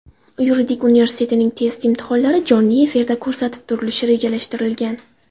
Yuridik universitetining test imtihonlari jonli efirda ko‘rsatib turilishi rejalashtirilgan .